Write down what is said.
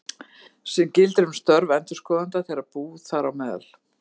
sem gildir um störf endurskoðanda þegar bú, þám.